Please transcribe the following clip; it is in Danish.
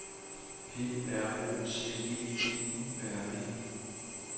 P R O C E D U R E